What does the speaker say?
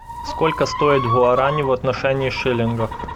сколько стоит гуарани в отношении шиллинга